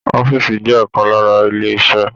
Ọ̀fiísí jẹ ọkan lára ilé iṣẹ.